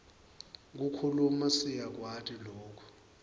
kukhuluma siyakwati loku